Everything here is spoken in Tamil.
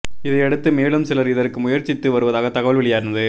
இதையடுத்து மேலும் சிலா் இதற்கு முயற்சித்து வருவதாகத் தகவல் வெளியானது